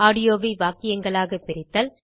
ஆடியோவை வாக்கியங்களாகப் பிரித்தல்